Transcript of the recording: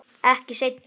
Ekki seinna.